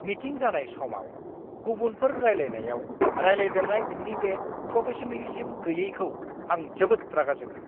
Meeting जानाय समाव गुबुनफोर रायलायनायाव रायलायदेरनाय, नोंनि बे प्रफेशनेलिज्म गैयैखौ आं जोबोद रागा जोङो!